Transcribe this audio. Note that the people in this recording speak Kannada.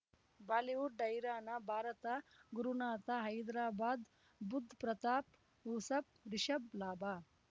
ಬಾಲಿವುಡ್ ಹೈರಾಣ ಭಾರತ ಗುರುನಾಥ ಹೈದ್ರಾಬಾದ್ ಬುಧ್ ಪ್ರತಾಪ್ ಯೂಸಫ್ ರಿಷಬ್ ಲಾಭ